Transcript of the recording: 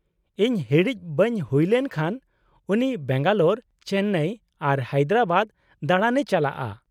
-ᱤᱧ ᱦᱤᱲᱤᱡ ᱵᱟᱹᱧ ᱦᱩᱭ ᱞᱮᱱ ᱠᱷᱟᱱ , ᱩᱱᱤ ᱵᱮᱝᱜᱟᱞᱳᱨ , ᱪᱮᱱᱱᱟᱭ ᱟᱨ ᱦᱟᱭᱫᱨᱟᱵᱟᱫ ᱫᱟᱬᱟᱱᱮ ᱪᱟᱞᱟᱜᱼᱟ ᱾